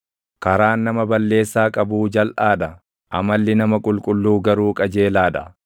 Karaan nama balleessaa qabuu jalʼaa dha; amalli nama qulqulluu garuu qajeelaa dha.